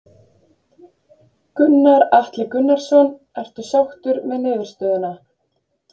Gunnar Atli Gunnarsson: Ertu sáttur með niðurstöðuna?